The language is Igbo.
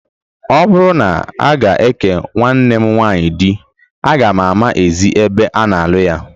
Ọ bụrụ na a ga-eke nwanne m nwaanyị di, aga m ama ezi ebe a na-alụ ya